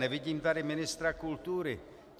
Nevidím tady ministra kultury.